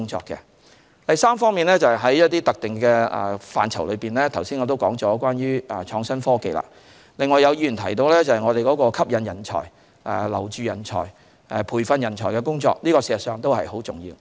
在一些特定的範疇內，正如我剛才所言的創新科技，有議員提到我們吸引人才、留住人才、培訓人才的工作很重要。